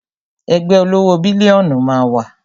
Ẹgbẹ́ olówó bílíónù máa wá